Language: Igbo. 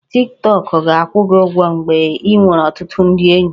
Tik Tọk ga-akwụ gị ụgwọ mgbe ị nwere ọtụtụ ndị enyi